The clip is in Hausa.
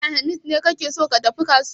Ranar alhamis ne kake son ka tafi kasuwar?